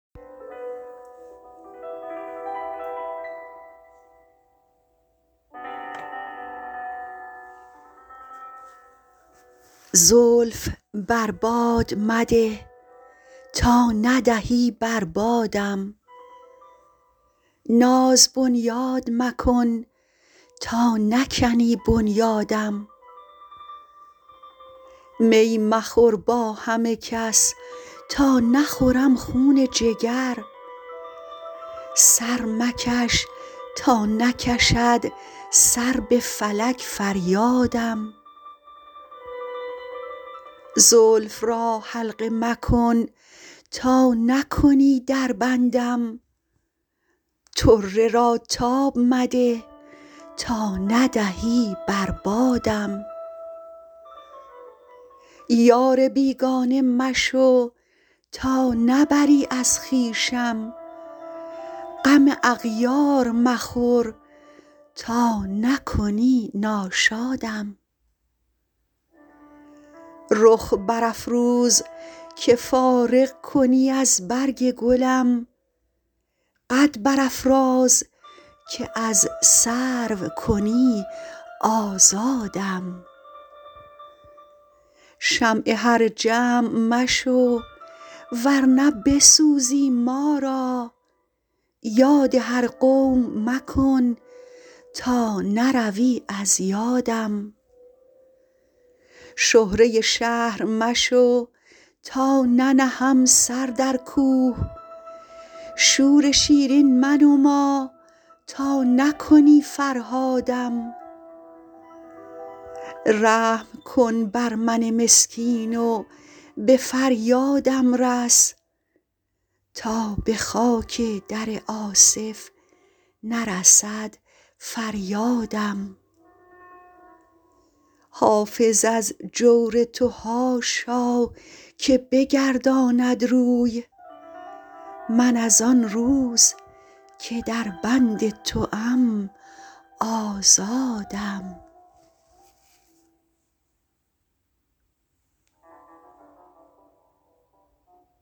زلف بر باد مده تا ندهی بر بادم ناز بنیاد مکن تا نکنی بنیادم می مخور با همه کس تا نخورم خون جگر سر مکش تا نکشد سر به فلک فریادم زلف را حلقه مکن تا نکنی در بندم طره را تاب مده تا ندهی بر بادم یار بیگانه مشو تا نبری از خویشم غم اغیار مخور تا نکنی ناشادم رخ برافروز که فارغ کنی از برگ گلم قد برافراز که از سرو کنی آزادم شمع هر جمع مشو ور نه بسوزی ما را یاد هر قوم مکن تا نروی از یادم شهره شهر مشو تا ننهم سر در کوه شور شیرین منما تا نکنی فرهادم رحم کن بر من مسکین و به فریادم رس تا به خاک در آصف نرسد فریادم حافظ از جور تو حاشا که بگرداند روی من از آن روز که در بند توام آزادم